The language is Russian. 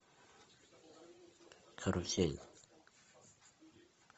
карусель